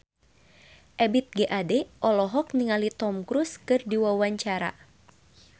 Ebith G. Ade olohok ningali Tom Cruise keur diwawancara